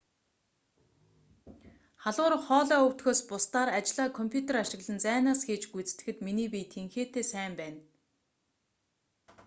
халуурах хоолой өвдөхөөс бусдаар ажлаа компьютер ашиглан зайнаас хийж гүйцэтгэхэд миний бие тэнхээтэй сайн байна